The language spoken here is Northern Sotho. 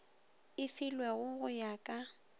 e filwego go ya ka